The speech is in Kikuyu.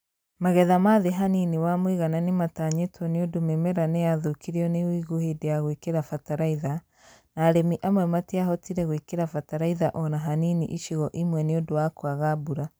Magetha ma thĩ hanini wa mũigana nĩmatanyĩtwo nĩũndũ mĩmera nĩyathũkirio nĩ ũigũ hĩndĩ ya gũĩkĩra bataraitha; na arĩmi amwe matiahotire gũĩkĩra bataraitha on a hanini icigo imwe nĩundũ wa kwaga mbura